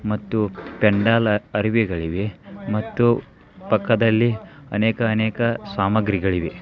ಮತ್ತು ಪೆಂಡಾಲ್ ಅರಿವೆಗಳಿವೆ . ಮತ್ತು ಪಕ್ಕಾದಲ್ಲಿ ಅನೇಕ್ ಅನೇಕ್ ಸಾಮಗ್ರಿಗಲ್ಲಿವೆ .